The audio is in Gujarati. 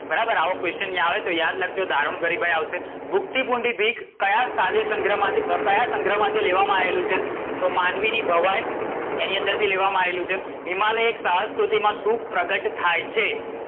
બરાબર આવો question આવે તો યાદ રાખજો દારુણ ગરીબાઈ આવશે. ભૂખથી ભૂંડી ભીખ કયા કાવ્ય સંગ્રહ માથી અમ કયા સંગ્રહમાથી લેવામાં આયેલું છે? તો માનવીની ભવાઇ એની અંદર થી લેવામાં આયેલું છે. હિમાલય એક સાહસ ક્રુતિ માં શું પ્રગટ થાય છે?